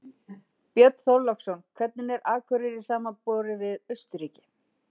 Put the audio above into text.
Björn Þorláksson: Hvernig er Akureyri samanborið við Austurríki?